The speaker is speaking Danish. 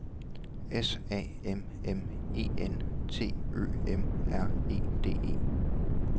S A M M E N T Ø M R E D E